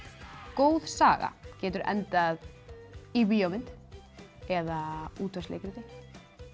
góð saga getur endað í bíómynd eða útvarpsleikriti